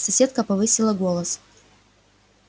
соседка повысила голос